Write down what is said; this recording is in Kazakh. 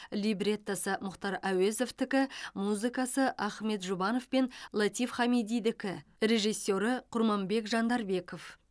либреттосы мұхтар әуезовтікі музыкасы ахмет жұбанов пен латиф хамидидікі режиссері құрманбек жандарбеков